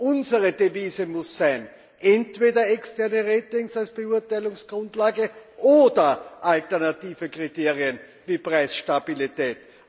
Unsere Devise muss sein entweder externe Ratings als Beurteilungsgrundlage oder alternative Kriterien wie Preisstabilität.